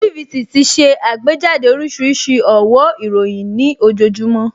TVC ti ṣe àgbéjáde oríṣiríṣi ọ̀wó ìròyìn nih ojoojúmọ́